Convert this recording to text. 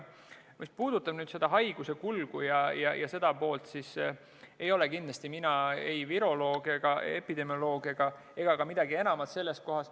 Mis puudutab haiguse kulgu, siis ei ole mina kindlasti ei viroloog ega epidemioloog ega ka midagi enamat sellel alal.